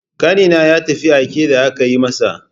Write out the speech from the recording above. Ƙanina ya tafi aike da aka yi masa.